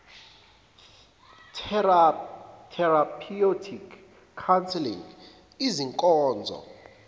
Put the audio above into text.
therapeutic counselling izinkonzo